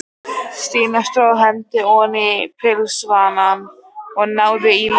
Stína tróð hendinni oní pilsvasann og náði í lykil.